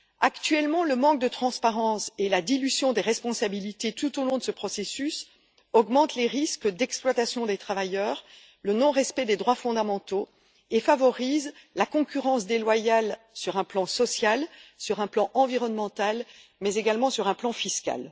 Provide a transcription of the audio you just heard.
Actuellement, le manque de transparence et la dilution des responsabilités tout au long de ce processus augmentent les risques d'exploitation des travailleurs, le non respect des droits fondamentaux et favorisent la concurrence déloyale sur un plan social, sur un plan environnemental, mais également sur un plan fiscal.